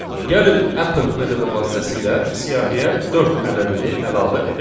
Gəlin append metodu vasitəsilə siyahıya dörd ədədini əlavə edək.